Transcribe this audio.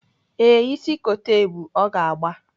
Ee, ịsị kote ebu, ọ ga-agba